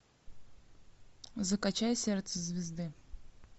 закачай сердце звезды